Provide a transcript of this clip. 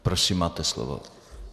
Prosím, máte slovo.